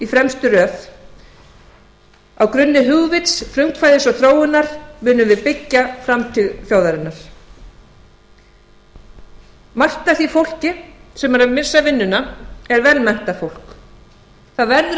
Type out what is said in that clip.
fremstu röð á grunni hugvits frumkvæðis og þróunar munum við byggja framtíð þjóðarinnar margt af því fólki sem er að missa vinnuna er vel menntað fólk það verður að